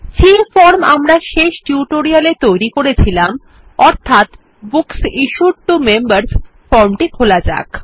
যে ফর্ম আমরা শেষ টিউটোরিয়ালে তৈরী করেছিলাম অর্থাৎ বুকস ইশ্যুড টো মেম্বার্স ফর্মটি খোলা যাক